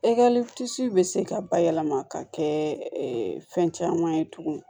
bɛ se ka bayɛlɛma ka kɛ fɛn caman ye tuguni